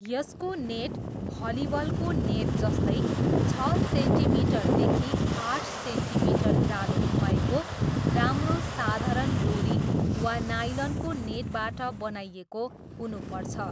यसको नेट भलिबलको नेट जस्तै छ सेन्टिमिटरदेखि आठ सेन्टिमिटर जालो भएको राम्रो साधारण डोरी वा नायलनको नेटबाट बनाइएको हुनुपर्छ।